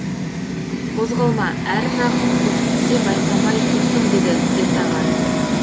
қозғалма әр жағың құз сен байқамай тұрсың деді ертаға